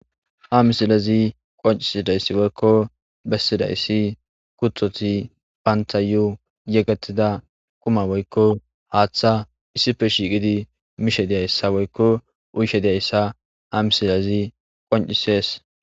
ha misilazi qoncisidayssi woykko bessidayssi kutoti bantayu yegetida quma woykko haaththa issife shiiqidi mishe diyayssa woykko uyshe diyayssa ha misilezi qoncisees